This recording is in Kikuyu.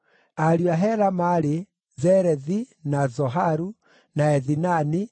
Ariũ a Hela maarĩ: Zerethi, na Zoharu, na Ethinani,